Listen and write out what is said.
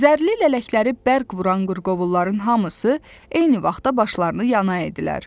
Zərli lələkləri bərq vuran qırqovulların hamısı eyni vaxtda başlarını yana etdilər.